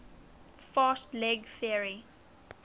fast leg theory